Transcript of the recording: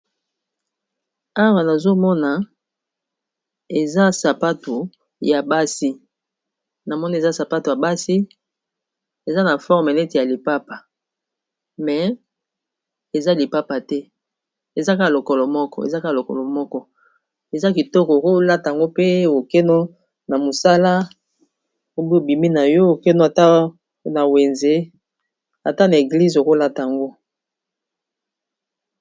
Awa nazomona eza sapato ya basi na moni eza sapato ya basi eza na forme neti ya lipapa me eza lipapa te ezaka lokolo moko eza kitoko okolatango pe okeno na mosala obi obimi na yo okeno na wenze ata na eglize okolata ango